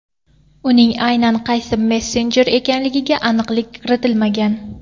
Uning aynan qaysi messenjer ekanligiga aniqlik kiritilmagan.